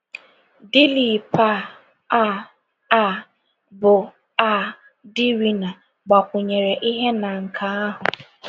Dilip um, um, um bụ́ um di Rina, gbakwụnyere ihe na nke ahụ.